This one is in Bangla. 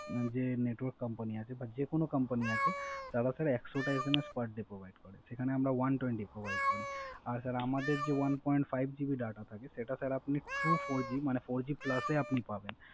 যে Network company আছে বা যেকোন Company আছে তারা Sir একশত টা SMS per day provide করে সেখানে আমরা one twenty SMS provide করি। আর আমাদের যে One point five GB Data সেটা Sir আপনি Four G plus এ পাবেন